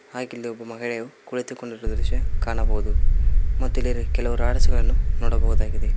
ಹಾಗೆ ಇಲ್ಲಿ ಒಬ್ಬ ಮಹಿಳೆಯು ಕುಳಿತುಕೊಂಡಿರುವ ದೃಶ್ಯ ಕಾಣಬಹುದು ಮತ್ತು ಇಲ್ಲಿ ಕೆಲವು ರಾಡ್ಸ್ ಗಳನ್ನು ನೋಡಬಹುದಾಗಿದೆ.